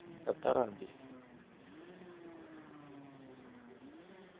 Kataran beek